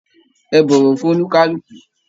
Ẹ bọwọ fún onikaluku!